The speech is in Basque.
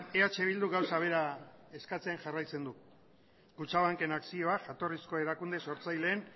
eh bilduk gauza bera eskatzen jarraitzen du kutxabanken akzioak jatorrizko erakunde sortzaileen